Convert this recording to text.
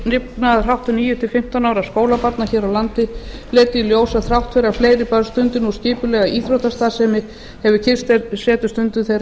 lifnaðarháttum níu til fimmtán ára skólabarna hér á landi leiddi í ljós að þrátt fyrir að fleiri börn stundi nú skipulega íþróttastarfsemi hefur kyrrsetustundum þeirra